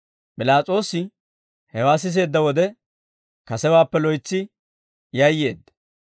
P'ilaas'oosi hewaa siseedda wode, kasewaappe loytsi yayyeedda.